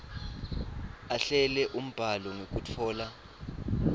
ahlele umbhalo ngekutfola